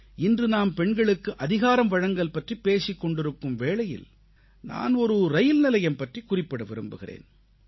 இன்று நாம் பெண்களுக்கு அதிகாரம்வழங்கல் பற்றிப் பேசிக் கொண்டிருக்கும் வேளையில் நான் ஒரு ரயில்நிலையம் பற்றிக் குறிப்பிட விரும்புகிறேன்